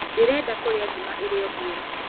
Ndĩrenda kũrĩa ngima ĩrĩ o hiũ